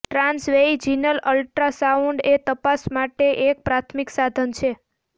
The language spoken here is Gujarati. ટ્રાંસવૈજિનલ અલ્ટ્રાસાઉન્ડ એ તપાસ માટે એક પ્રાથમિક સાધન છે